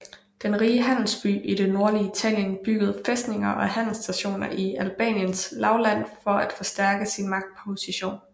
Den rige handelsby i det nordlige Italien byggede fæstninger og handelsstationer i Albaniens lavland for at forstærke sin magtposition